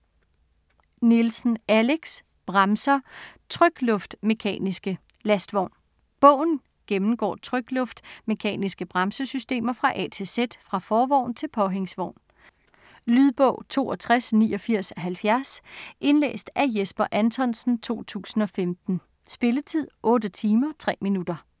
Nielsen, Alex: Bremser - trykluft-mekaniske. Lastvogn Bogen gennemgår trykluft-mekaniske bremsesystemer fra A til Z – fra forvogn til påhængsvogn. Lydbog 628970 Indlæst af Jesper Anthonsen, 2015. Spilletid: 8 timer, 3 minutter.